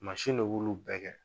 Mansin le b'ulu bɛɛ kɛ.